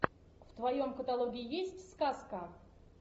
в твоем каталоге есть сказка